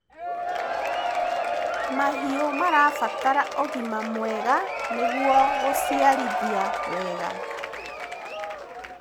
mahiũ marabatara ũgima mwega nĩguo guciarithia wega